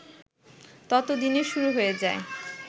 ততদিনে শুরু হয়ে যায়